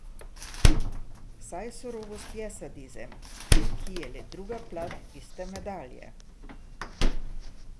Saj surovost je sadizem, ki je le druga plat iste medalje.